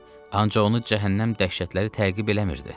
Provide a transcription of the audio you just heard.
Ancaq onu cəhənnəm dəhşətləri təqib eləmirdi.